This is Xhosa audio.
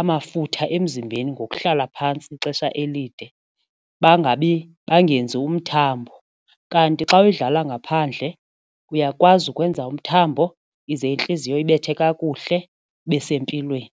amafutha emzimbeni ngokuhlala phantsi ixesha elide bangenzi umthambo kanti xa udlala ngaphandle uyakwazi ukwenza umthambo ize intliziyo ibethe kakuhle ibesempilweni.